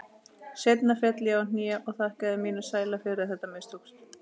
Seinna féll ég á hnén og þakkaði mínum sæla fyrir að þetta mistókst.